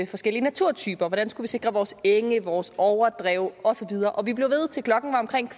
forskellige naturtyper hvordan vi skulle sikre vores enge vores overdrev og så videre og vi blev ved til klokken var omkring